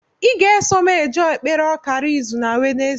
I ga-eso m jee ekpere ọkara izu na wenezdee